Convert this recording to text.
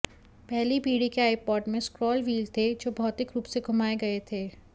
पहली पीढ़ी के आइपॉड में स्क्रॉल व्हील थे जो भौतिक रूप से घुमाए गए थे